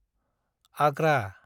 Agra